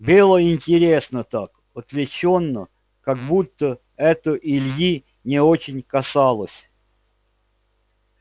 было интересно так отвлечённо как будто это ильи не очень касалось